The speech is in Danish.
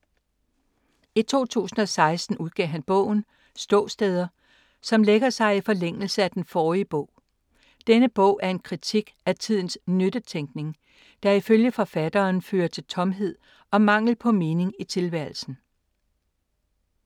I 2016 udgav han bogen Ståsteder, som lægger sig i forlængelse af den forrige bog. Denne bog er en kritik af tidens nyttetænkning, der ifølge forfatteren fører til tomhed og mangel på mening i tilværelsen.